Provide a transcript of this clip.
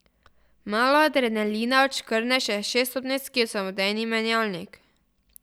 Malo adrenalina odškrne še šeststopenjski samodejni menjalnik.